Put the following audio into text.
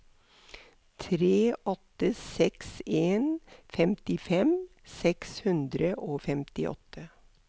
tre åtte seks en femtifem seks hundre og femtiåtte